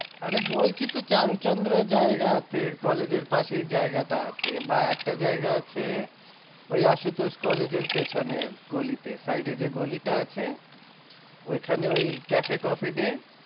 আরে বলছি তো চারু চন্দ্রয় জায়গা আছে কলেজের পাশেই জায়গাটা আছে, বা একটা জায়গা আছে ওই আশুতোষ কলেজের পেছনের গলিতে side এ যে গলিটা আছে ওইখানে ওই cafe-coffee-day